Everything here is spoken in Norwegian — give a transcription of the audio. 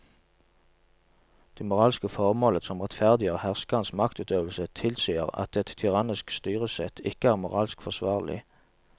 Det moralske formålet som rettferdiggjør herskerens maktutøvelse tilsier at et tyrannisk styresett ikke er moralsk forsvarlig.